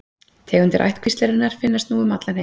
Tegundir ættkvíslarinnar finnast nú um allan heim.